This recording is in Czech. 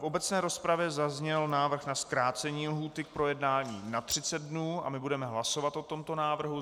V obecné rozpravě zazněl návrh na zkrácení lhůty k projednání na 30 dnů a my budeme hlasovat o tomto návrhu.